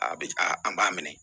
A bɛ a an b'a minɛ